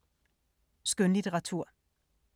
Skønlitteratur